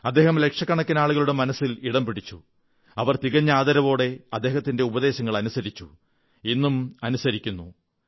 അദ്ദേഹം ലക്ഷക്കണക്കിന് ആളുകളുടെ മനസ്സിൽ ഇടം പിടിച്ചു അവർ തികഞ്ഞ ആദരവോടെ അദ്ദേഹത്തിന്റെ ഉപദേശങ്ങൾ അനുസരിച്ചു ഇന്നും അനുസരിക്കുന്നു